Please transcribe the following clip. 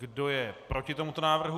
Kdo je proti tomuto návrhu?